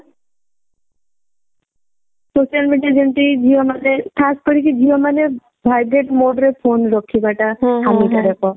social media ଯେମତି ଝିଅ ମାନେ ଖାସ କରିକି ଝିଅ ମାନେ vibrate mode re phone ରଖିବା ଟା ହାନି କାରକ